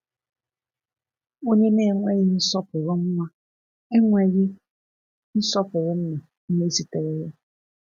Onye na-enweghị nsọpụrụ nwa, enweghị nsọpụrụ nna onye zitere ya.